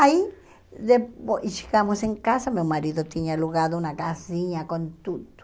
Aí depois e chegamos em casa, meu marido tinha alugado uma casinha com tudo.